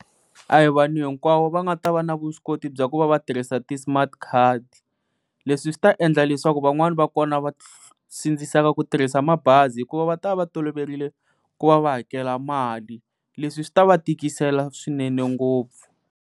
A hi vanhu hinkwavo va nga ta va na vuswikoti bya ku va va tirhisa ti-smart card leswi swi ta endla leswaku van'wani va kona va sindziseka ku tirhisa mabazi hikuva va ta va va toloverile ku va va hakela mali leswi swi ta va tikisela swinene ngopfu.